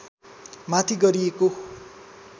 माथि गरिएको